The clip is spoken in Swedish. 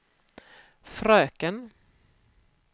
fröken